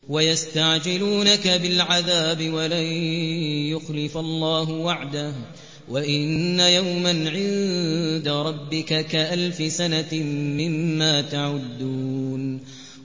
وَيَسْتَعْجِلُونَكَ بِالْعَذَابِ وَلَن يُخْلِفَ اللَّهُ وَعْدَهُ ۚ وَإِنَّ يَوْمًا عِندَ رَبِّكَ كَأَلْفِ سَنَةٍ مِّمَّا تَعُدُّونَ